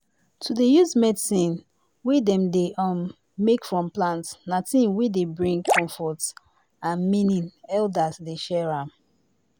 to dey use medicine wey dem dey um make from plant na thing wey dey bring comfort and meaning elders dey share am